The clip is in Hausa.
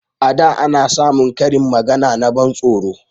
A da ana samun karin magana na ban tsoro